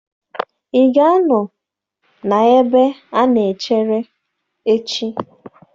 Ị ga-anọ na ebe a na-echere echi?